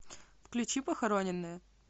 включи похороненные